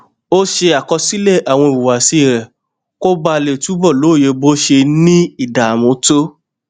ó ṣe àkọsílè àwọn ìhùwàsí rè kó bàa lè túbò lóye bó ṣe n ní ìdààmú tó